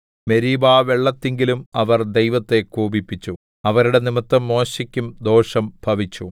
മെരീബാവെള്ളത്തിങ്കലും അവർ ദൈവത്തെ കോപിപ്പിച്ചു അവരുടെ നിമിത്തം മോശെക്കും ദോഷം ഭവിച്ചു